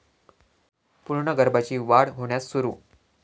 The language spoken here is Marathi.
पूर्ण गर्भाची वाढ होण्यास सुरू